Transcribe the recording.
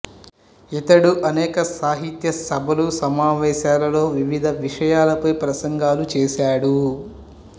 ఇతడు అనేక సాహిత్య సభలు సమావేశాలలో వివిధ విషయాలపై ప్రసంగాలు చేశాడు